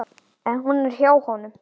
En hún er hjá honum.